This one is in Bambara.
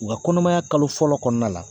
U ka kɔnɔmaya kalo fɔlɔ kɔnɔna la.